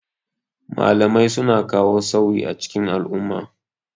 Malamai suna ka wo sauyi a cikin al'umma.